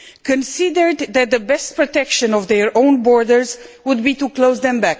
considered that the best way to protect their own borders would be to close them.